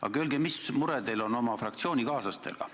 Aga öelge, mis mure teil on oma fraktsioonikaaslastega.